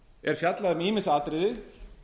er fjallað um ýmis atriði